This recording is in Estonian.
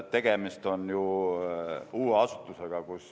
Tegemist on ju uue asutusega.